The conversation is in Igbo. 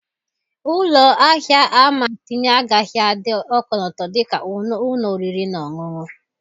Ụlọ ahịa ama tinye agaghị adị ọkọlọtọ dị ka ụlọ oriri na ọṅụṅụ.